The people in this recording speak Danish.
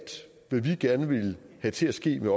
hvad vi gerne ville have til at ske med